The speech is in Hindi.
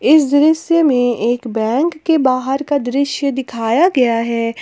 इस दृश्य में एक बैंक के बाहर का दृश्य दिखाया गया है।